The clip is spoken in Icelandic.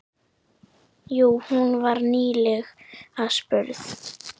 Jú, hún var nýlega spurð.